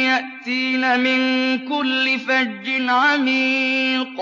يَأْتِينَ مِن كُلِّ فَجٍّ عَمِيقٍ